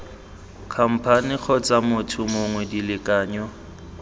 khamphane kgotsa motho mongwe dilekanyo